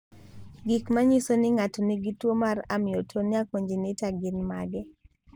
Gik manyiso ni ng'ato nigi tuwo mar Amyotonia congenita gin mage?